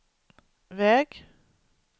väg